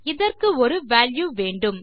இதற்கு ஒரு வால்யூ வேண்டும்